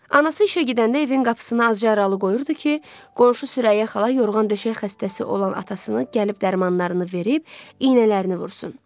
Anası işə gedəndə evin qapısını azca aralı qoyurdu ki, qonşu Sürəyyə xala yorğan döşək xəstəsi olan atasını gəlib dərmanlarını verib iynələrini vursun.